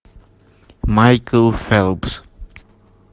майкл фелпс